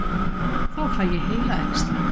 Þá fæ ég heilaæxli.